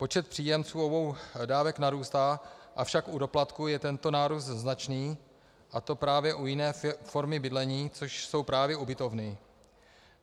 Počet příjemců obou dávek narůstá, avšak u doplatku je tento nárůst značný, a to právě u jiné formy bydlení, což jsou právě ubytovny.